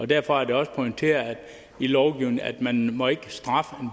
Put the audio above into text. derfor er det også pointeret i lovgivningen at man må ikke straffe